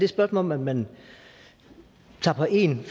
spørgsmål om at man tager på en